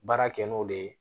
Baara kɛ n'o de ye